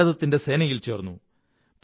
Indian സേനയിൽ ചേര്ന്നു